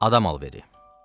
Adam alveri.